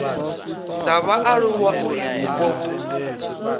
dza vhaaluwa uri vhupo vhu